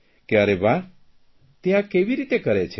કે અરે વાહ તે આ કેવી રીતે કરે છે